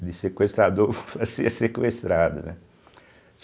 De sequestrador, a ser sequestrado, né.